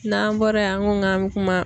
N'an bɔra yen an ko k'an bɛ kuma.